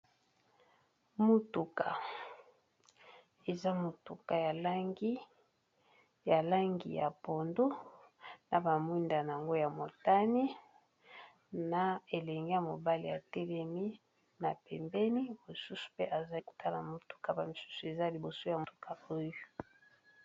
Motuka ,eza motuka ya langi ya pondu na bamwinda yango ya motani na elenge ya mobale ya telemi na pembeni bosusu mpe azai kotala motuka ba misusu eza liboso ya motuka oyo.